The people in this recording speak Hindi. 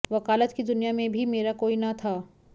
वकालत की दुनिया में भी मेरा कोई न था